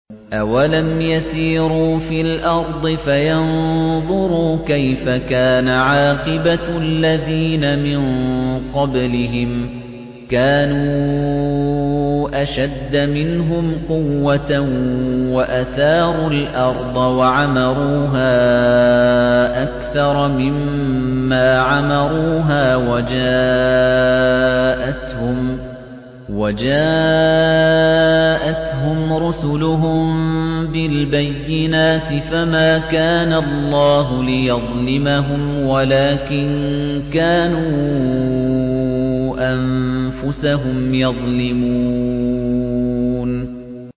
أَوَلَمْ يَسِيرُوا فِي الْأَرْضِ فَيَنظُرُوا كَيْفَ كَانَ عَاقِبَةُ الَّذِينَ مِن قَبْلِهِمْ ۚ كَانُوا أَشَدَّ مِنْهُمْ قُوَّةً وَأَثَارُوا الْأَرْضَ وَعَمَرُوهَا أَكْثَرَ مِمَّا عَمَرُوهَا وَجَاءَتْهُمْ رُسُلُهُم بِالْبَيِّنَاتِ ۖ فَمَا كَانَ اللَّهُ لِيَظْلِمَهُمْ وَلَٰكِن كَانُوا أَنفُسَهُمْ يَظْلِمُونَ